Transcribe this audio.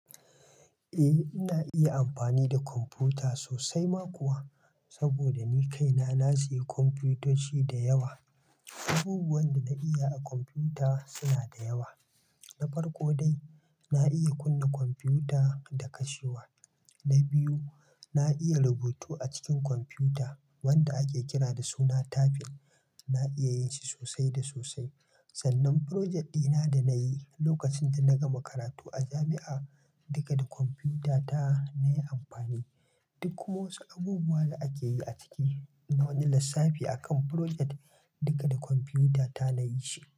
Eh, ina iya amfani da kwamfuta sosai ma kuwa. Saboda ni kaina na sayi kwamfutoci da yawa. Abubuwan da na iya a kwamfuta suna da yawa. Na farko dai, na iya kunna kwamfuta da kashewa. Na biyu, na iya rubutu a cikin kwamfuta wanda ake kira da suna "tablet". Na iya yin shi sosai da sosai. Sannan "project" dina da na yi lokacin da na gama karatu a jami'a, duka da kwamfuta ta na yi amfani. Duk kuma wasu abubuwa da ake yi a ciki na wani lissafi a kan "project", duka da kwamfuta ta na yin shi.